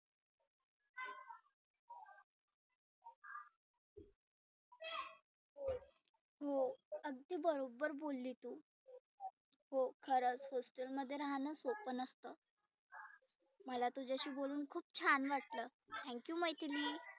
हो अगदी बरोबर बोलली तु. हो खरच hostel मध्ये राहणं सोप नसतं. मला तुझ्याशी बोलुन खुप छान वाटलं thank you मैथिली.